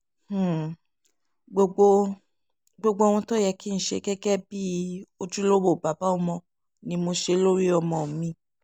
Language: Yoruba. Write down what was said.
um gbogbo gbogbo ohun tó yẹ um kí n ṣe gẹ́gẹ́ bíi ojúlówó bàbá ọmọ ni mò ń ṣe lórí ọmọ mi